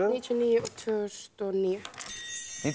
níutíu og níu og tvö þúsund og níu